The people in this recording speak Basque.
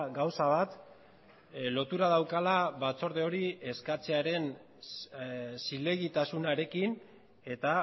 gauza bat lotura daukala batzorde hori eskatzearen zilegitasunarekin eta